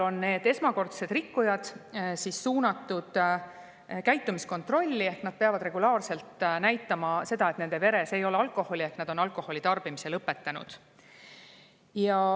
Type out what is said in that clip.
Need esmakordsed rikkujad on suunatud käitumiskontrolli ehk nad peavad regulaarselt näitama seda, et nende veres ei ole alkoholi ja nad on alkoholi tarbimise lõpetanud.